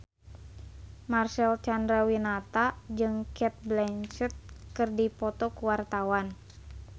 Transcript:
Marcel Chandrawinata jeung Cate Blanchett keur dipoto ku wartawan